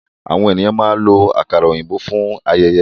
Àwọn ènìyàn máa ń lo àkàrà òyìnbó fún ayẹyẹ.